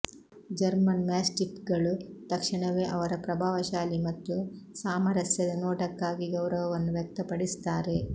German ಮ್ಯಾಸ್ಟಿಫ್ಗಳು ತಕ್ಷಣವೇ ಅವರ ಪ್ರಭಾವಶಾಲಿ ಮತ್ತು ಸಾಮರಸ್ಯದ ನೋಟಕ್ಕಾಗಿ ಗೌರವವನ್ನು ವ್ಯಕ್ತಪಡಿಸುತ್ತಾರೆ